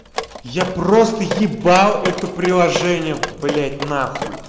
я просто ебал это приложение блять нахуй